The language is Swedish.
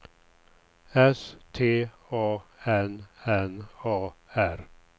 S T A N N A R